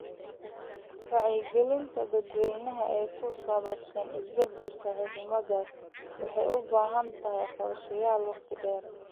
Wacyigelinta dadweynaha ee ku saabsan isbedelka cimilada waxay u baahan tahay qorshayaal waqti dheer ah.